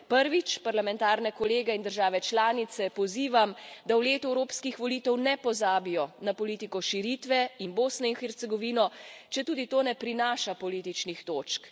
Prvič, parlamentarne kolege in države članice pozivam, da v letu evropskih volitev ne pozabijo na politiko širitve in Bosno in Hercegovino, četudi to ne prinaša političnih točk.